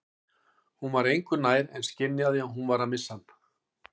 Hún var engu nær en skynjaði að hún var að missa hann.